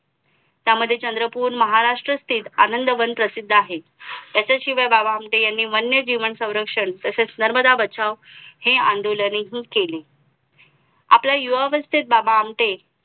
त्यामध्ये चंद्रपूर महाराष्ट्र ते आनंदवन प्रसिद्ध आहे त्याच्या शिवाय बाबा आमटे यांनी वन्य जीवन संरक्षण तसेच नर्मदा बचाव हे आंदोलन हि केली आपल्या युवा अवस्थेत बाबा आमटे